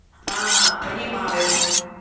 а понимаю